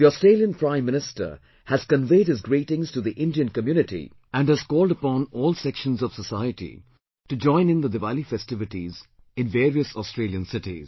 The Australian Prime Minister has conveyed his greetings to the Indian community and has called upon all sections of societies to join in the Diwali festivities in various Australian cities